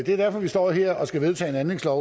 det er derfor vi står her og skal vedtage en anlægslov